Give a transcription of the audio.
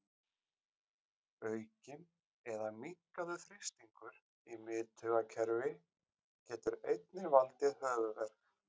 Aukinn eða minnkaður þrýstingur í miðtaugakerfi getur einnig valdið höfuðverk.